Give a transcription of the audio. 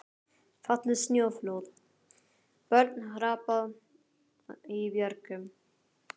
Fallið snjóflóð, börn hrapað í björgum.